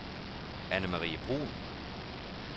Anne-Marie Bruun